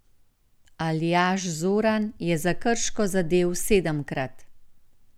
Aljaž Zoran je za Krško zadel sedemkrat.